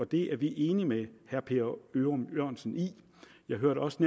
det er vi enige med herre per ørum jørgensen i jeg hørte også